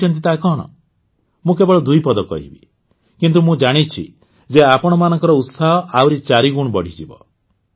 ଜାଣିଛନ୍ତି ତାହା କଣ ମୁଁ କେବଳ ଦୁଇ ପଦ କହିବି କିନ୍ତୁ ମୁଁ ଜାଣିଛି ଯେ ଆପଣମାନଙ୍କ ଉତ୍ସାହ ଆହୁରି ଚାରିଗୁଣ ବଢ଼ିଯିବ